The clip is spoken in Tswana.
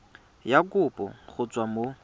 ya kopo go tswa mo